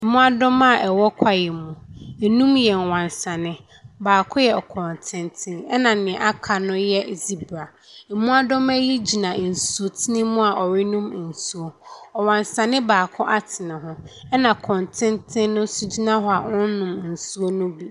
Mmoadoma a ɛwɔ kwaeɛ mu, nnum yɛ wansane, baako yɛ kɔntenten, na deɛ aka no yɛ zebra. Mmoadoma yi gyina nsutene mu a wɔrenom nsuo. Ɔwansanee baako ate ne ho, na kɔntenten no nso gyina hɔ a ɔnnom nsuo ne bi.